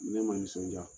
Ne man nisɔndiya